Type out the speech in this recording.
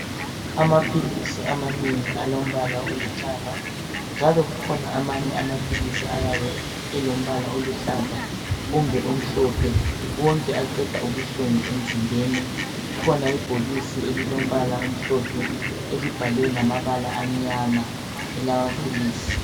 Amaphilisi amanengi alombala olithanga. Njalo kukhona amanye amaphilisi ayabe elombala oluhlaza kumbe omhlophe. Wonke aqeda ubuhlungu emzimbeni. Kukhona ibhokisi elilombala omhlophe elibhalwe ngamabala amnyama elamaphilisi.